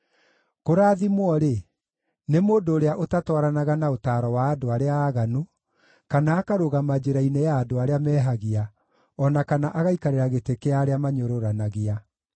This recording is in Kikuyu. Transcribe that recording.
Kũrathimwo-rĩ, nĩ mũndũ ũrĩa ũtatwaranaga na ũtaaro wa andũ arĩa aaganu, kana akarũgama njĩra-inĩ ya andũ arĩa mehagia, o na kana agaikarĩra gĩtĩ kĩa arĩa manyũrũranagia.